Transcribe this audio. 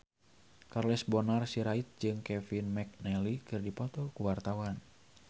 Charles Bonar Sirait jeung Kevin McNally keur dipoto ku wartawan